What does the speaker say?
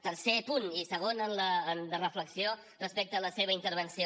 tercer punt i segon de reflexió respecte a la seva intervenció